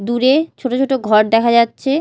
দূরে ছোট ছোট ঘর দেখা যাচ্ছে।